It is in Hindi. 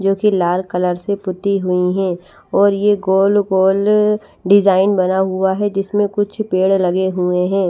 जोकि लाल कलर से पुती हुई है और ये गोल गोल अ डिजाइन बना हुआ है जिसमे कुछ पेड़ लगे हुए है ।